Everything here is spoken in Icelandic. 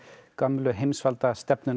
gömlu